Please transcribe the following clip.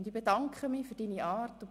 Und ich bedanke mich für deine Art.